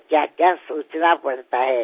શુંશું વિચારવું પડે છે